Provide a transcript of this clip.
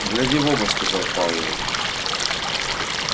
гляди в оба сказал пауэлл